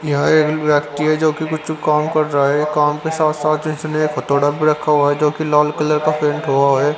यहां एक व्यक्ति है जो कि कुछ काम कर रहा है काम के साथ-साथ इसने एकहथोड़ा भी रखा हुआ है जो कि लाल कलर का पेंट हुआ है.